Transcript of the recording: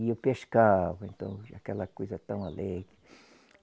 E eu pescava, então, aquela coisa tão alegre.